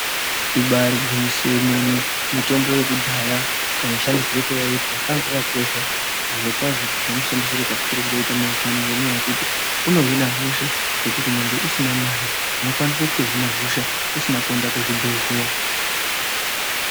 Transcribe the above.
Ibaari gwinyiso yemene mitombo yekudhaya kamushandisire kayaiitwa kaakakakosha zvirokwazvo ngemushandisire katichiri kungoita mazuvano ngenyaya yekuti unohina hosha zvekuti nyangwe usina mare unokwanise kutohina hosha, usina kuenda kuzvibhedhleya.